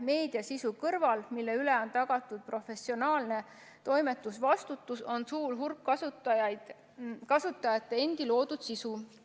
Meediasisu kõrval, mille üle on tagatud professionaalne toimetusvastutus, on suur hulk kasutajate endi loodud sisu.